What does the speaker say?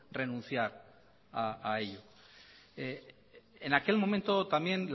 renunciar a ello en aquel momento también